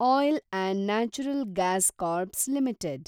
oil & natural gas ಕಾರ್ಪ್ನ limited